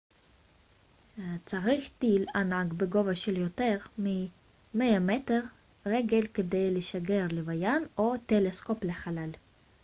צריך טיל ענק בגובה של יותר מ-100 רגל כדי לשגר לוויין או טלסקופ לחלל